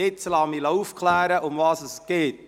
Ich lasse mich nun aufklären, worum es geht.